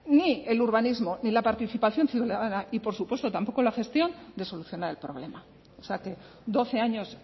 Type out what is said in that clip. ni el urbanismo ni la participación ciudadana y por supuesto tampoco la gestión de solucionar el problema o sea que doce años